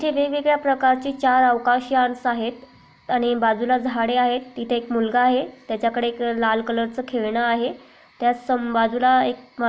येथे वेगवेगळ्या प्रकारचे अवकाशयान्स आहेत आणि बाजूला झाडे आहेत तिथे एक मुलगा आहे त्याच्याकडे एक लाल कलरचं खेळणं आहे त्या सं बाजूला एक --